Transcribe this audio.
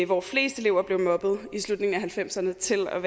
hvor flest elever blev mobbet i slutningen af nitten halvfemserne til at